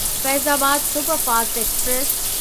Faizabad superfast express